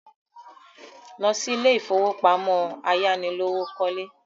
Lọ sí ilé ìfowópamọ́ ayánilówókọ́lé!